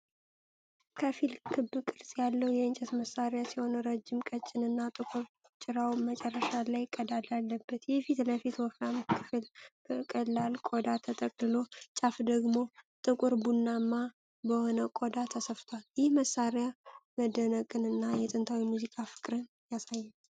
ከፊል ክብ ቅርጽ ያለው የእንጨት መሳሪያ ሲሆን ረጅም ቀጭን እና ጥቁር ጭራው መጨረሻ ላይ ቀዳዳ አለበት። የፊት ለፊቱ ወፍራም ክፍል በቀላል ቆዳ ተጠቅልሎ፣ ጫፉ ደግሞ ጥቁር ቡናማ በሆነ ቆዳ ተሰፍቷል። ይህ መሳሪያ መደነቅን እና የጥንታዊ ሙዚቃ ፍቅርን ያሳያል።